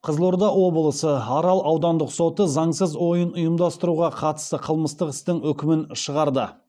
қызылорда облысы арал аудандық соты заңсыз ойын ұйымдастыруға қатысты қылмыстық істің үкімін шығарды